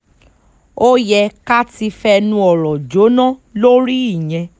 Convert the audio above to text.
ó yẹ ká ti fẹnu ọ̀rọ̀ jóná lórí ìyẹn